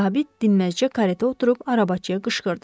Zabit dinməzcə karetə oturub arabaçıya qışqırdı.